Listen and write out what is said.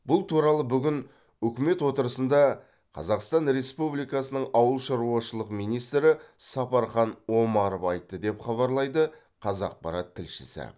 бұл туралы бүгін үкімет отырысында қазақстан республикасының ауыл шаруашылығы министрі сапархан омаров айтты деп хабарлайды қазақпарат тілшісі